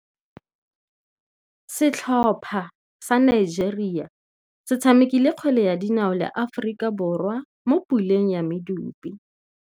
Setlhopha sa Nigeria se tshamekile kgwele ya dinaô le Aforika Borwa mo puleng ya medupe.